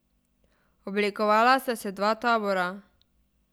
Oblikovala sta se dva tabora.